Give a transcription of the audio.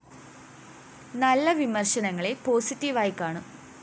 നല്ല വിമര്‍ശനങ്ങളെ പോസിറ്റീവായി കാണും